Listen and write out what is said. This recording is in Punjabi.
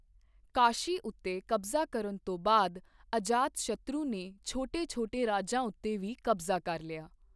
ਕਾਸ਼ੀ ਉੱਤੇ ਕਬਜ਼ਾ ਕਰਨ ਤੋਂ ਬਾਅਦ ਅਜਾਤਸ਼ਤਰੂ ਨੇ ਛੋਟੇ ਛੋਟੇ ਰਾਜਾਂ ਉੱਤੇ ਵੀ ਕਬਜ਼ਾ ਕਰ ਲਿਆ।